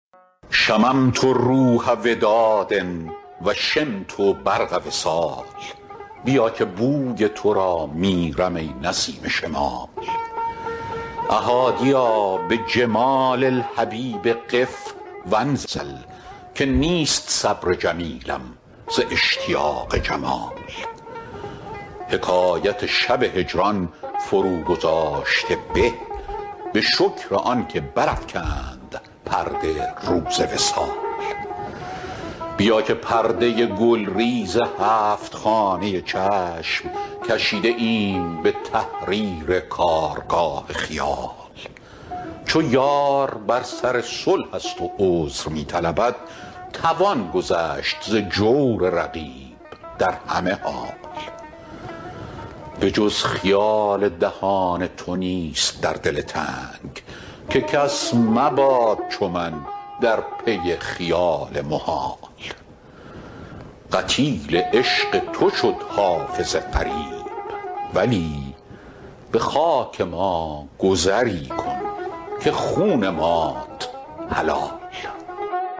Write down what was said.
شممت روح وداد و شمت برق وصال بیا که بوی تو را میرم ای نسیم شمال أ حادیا بجمال الحبیب قف و انزل که نیست صبر جمیلم ز اشتیاق جمال حکایت شب هجران فروگذاشته به به شکر آن که برافکند پرده روز وصال بیا که پرده گلریز هفت خانه چشم کشیده ایم به تحریر کارگاه خیال چو یار بر سر صلح است و عذر می طلبد توان گذشت ز جور رقیب در همه حال به جز خیال دهان تو نیست در دل تنگ که کس مباد چو من در پی خیال محال قتیل عشق تو شد حافظ غریب ولی به خاک ما گذری کن که خون مات حلال